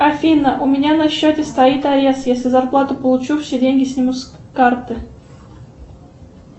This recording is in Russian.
афина у меня на счете стоит арест если зарплату получу все деньги снимут с карты